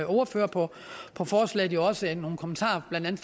ordførere på på forslaget også nogle kommentarer blandt andet